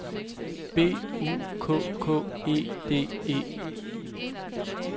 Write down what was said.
B U K K E D E